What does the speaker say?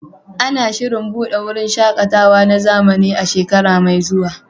Ana shirin buɗe wurin shaƙatawa na zamani a shekara mai zuwa.